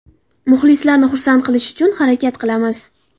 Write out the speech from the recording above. Muxlislarni xursand qilish uchun harakat qilamiz.